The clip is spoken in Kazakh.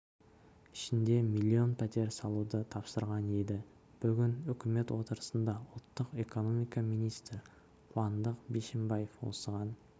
ішінде млн пәтер салуды тапсырған еді бүгін үкімет отырысында ұлттық экономика министрі қуандық бишімбаев осыған